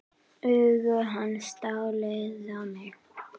Augu hans dáleiða mig.